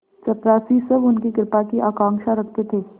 चपरासीसब उनकी कृपा की आकांक्षा रखते थे